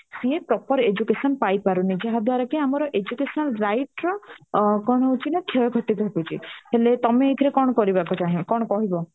ସିଏ proper education ପାଇ ପାରୁନି ଯାହା ଦୁଆରକି ଆମର educational right ର କ୍ଷେୟକ୍ଷତି ଘଟୁଛି ହେଲେ ତମେ ଏଥିରେ କଣ କରିବାକୁ ଚାହିଁ ବ କଣ କହିବ